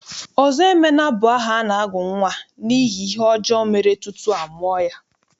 Ọzọemena bụ aha a na-agụ nnwa n'ihi ihe ọjọọ mere tutu a mụọ ya.